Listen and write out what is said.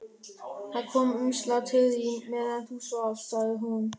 Það kom umslag til þín meðan þú svafst, sagði hún.